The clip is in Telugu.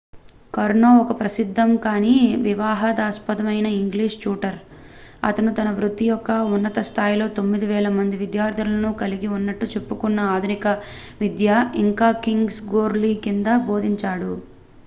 కర్నో ఒక ప్రసిద్దం కానీ వివాదాస్పదమైన ఇంగ్లీష్ ట్యూటర్ అతను తన వృత్తి యొక్క ఉన్నత స్థాయిలో 9,000 మంది విద్యార్థులను కలిగి ఉన్నట్లు చెప్పుకున్న ఆధునిక విద్య ఇంకా కింగ్స్ గ్లోరీ కింద బోధించాడు